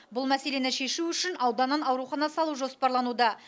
бұл мәселені шешу үшін ауданнан аурухана салу жоспарлануда